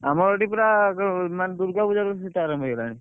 ଆମର ଏଠି ପୁରା ମାନେ ଦୂର୍ଗାପୂଜା ରୁ ଶୀତ ଆରମ୍ଭ ହେଇଗଲାଣି।